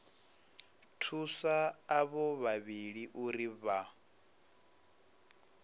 thusa avho vhavhili uri vha